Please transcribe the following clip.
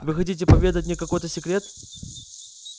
вы хотите поведать мне какой-то секрет